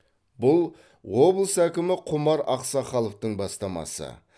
бұл облыс әкімі құмар ақсақаловтың бастамасы